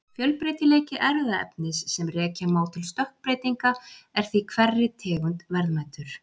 Fjölbreytileiki erfðaefnis sem rekja má til stökkbreytinga er því hverri tegund verðmætur.